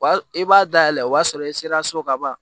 I b'a dayɛlɛ o b'a sɔrɔ i sera so ka ban